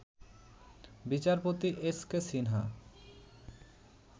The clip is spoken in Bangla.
বিচারপতি এসকে সিনহা